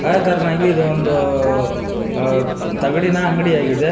ಅ ತರನಾಗಿ ಇದು ಒಂದು ಅ ತಗಡಿನ ಅಂಗಡಿಯಾಗಿದೆ.